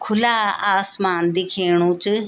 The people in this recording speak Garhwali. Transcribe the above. खुला आसमान दिखेणु च।